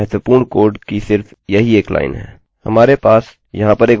और इस फाइल में महत्वपूर्ण कोड की सिर्फ यही एक लाइन है